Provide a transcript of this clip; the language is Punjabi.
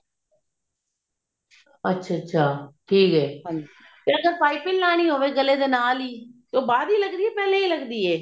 ਅੱਛਾ ਅੱਛਾ ਠੀਕ ਹੈ ਜੇ ਪਾਈਪਿੰਨ ਲਗਾਉਣੀ ਹੋਵੇ ਗਲੇ ਦੇ ਨਾਲ ਹੀ ਉਹ ਬਾਅਦ ਹੀ ਲੱਗਦੀ ਹੈ ਪਹਿਲੇ ਲੱਗਦੀ ਹੈ